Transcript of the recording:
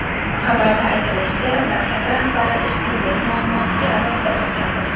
Xabarda aytilishicha, davlat rahbari ishsizlik muammosiga alohida to‘xtaldi.